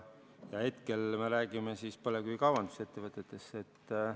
Hetkel me räägime põlevkivi kaevandamise ettevõtetest.